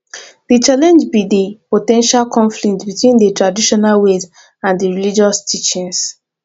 di challenge be di po ten tial conflict between di traditional ways and di religious teachings